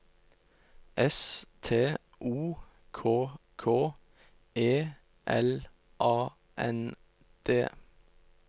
S T O K K E L A N D